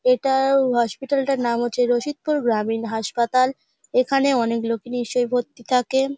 এটা-আ-ও hospital -টার নাম হচ্ছে রশিদপুর গ্রামীণ হাসপাতাল এখানে অনেক লোকে নিশ্চয়ই ভর্তি থাকে ।